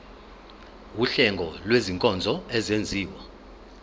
wuhlengo lwezinkonzo ezenziwa